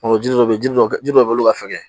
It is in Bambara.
Ɔ jiri dɔ bɛ yen jiri dɔ jiri dɔ bɛ yen olu ka fɛgɛn